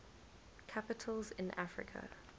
capitals in africa